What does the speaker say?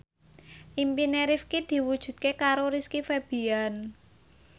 impine Rifqi diwujudke karo Rizky Febian